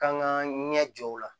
K'an k'an ɲɛ jɔ o la